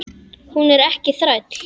Hún er ekki þræll.